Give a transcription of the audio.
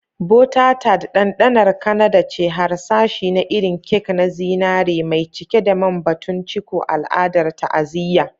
Butter Tart, ɗanɗanar Kanada ce, harsashi na irin kek na zinare mai cike da man-batun-ciko, al'adar ta'aziyya.